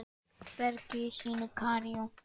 bergi sínu í Kaíró.